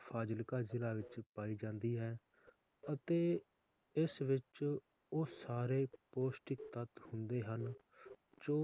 ਫਾਜ਼ਿਲਕਾ ਜ਼ਿਲਾ ਵਿਚ ਪਾਈ ਜਾਂਦੀ ਹੈ ਅਤੇ ਇਸ ਵਿਚ ਉਹ ਸਾਰੇ ਪੌਸ਼ਟਿਕ ਤੱਤ ਹੁੰਦੇ ਹਨ ਜੋ